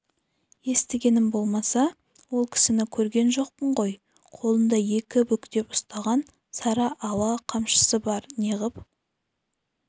естігенім болмаса ол кісіні көрген жоқпын ғой қолында екі бүктеп ұстаған сары ала қамшысы бар неғып